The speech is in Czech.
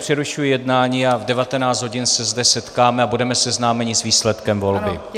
Přerušuji jednání a v 19 hodin se zde setkáme a budeme seznámeni s výsledkem volby.